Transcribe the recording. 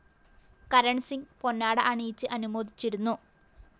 കരണ്‍സിംഗ് പൊന്നാട അണിയിച്ച് അനുമോദിച്ചിരുന്നു